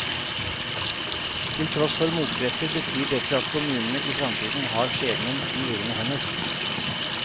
Til tross for motkrefter betyr dette at kommunene i framtiden har skjebnen i egne hender.